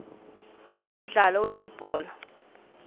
umdlalo welibhola